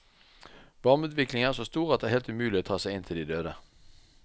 Varmeutviklingen er så stor at det er helt umulig å ta seg inn til de døde.